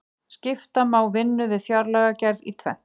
skipta má vinnu við fjárlagagerð í tvennt